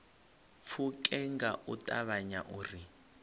pfuke nga u ṱavhanya uri